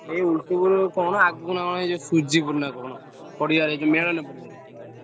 ଏଇ ଓଲଟପୁରୁ କଣ ଆଗୁକୁ ନାଁ କଣ ସୁଜିପୁରୁ ନା କଣ ପଡିଆରେ ଯୋଉ ମେଳଣ ପଡିଆରେ।